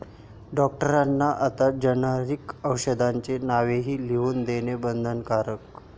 डॉक्टरांना आता जेनेरिक औषधांची नावंही लिहून देणं बंधनकारक